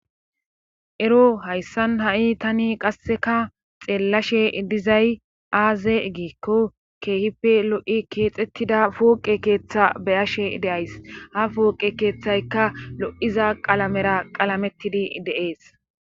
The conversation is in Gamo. ero hayssan ha7i tani qasseka xeellashe dizay aaze giikko keehife lo7i keexettida fooqe keeththa beyashe de'ays ha fooqe keeththayka lo7iza qalamera qalamettidi de7ees